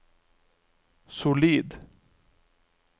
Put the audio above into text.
solid